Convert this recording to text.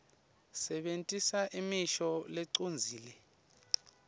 sebentisa imisho lecondzile